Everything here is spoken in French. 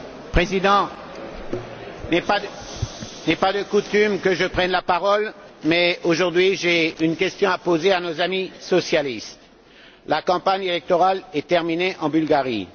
Monsieur le Président, il n'est pas de coutume que je prenne la parole mais, aujourd'hui, j'ai une question à poser à nos amis socialistes. La campagne électorale est terminée en Bulgarie.